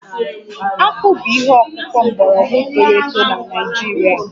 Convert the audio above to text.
Akpụ bụ ihe ọkụkụ mgbọrọgwụ toro eto na Naịjirịa